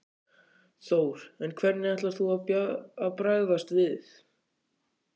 Þór: En hvernig ætlar þú að bregðast við?